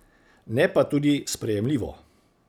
Ne pa tudi sprejemljivo.